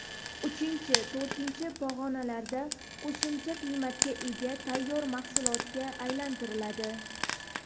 Uchinchi, to‘rtinchi pog‘onalarda qo‘shimcha qiymatga ega tayyor mahsulotga aylantiriladi.